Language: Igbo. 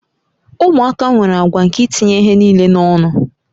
Ụmụaka nwere àgwà nke itinye ihe niile n'ọnụ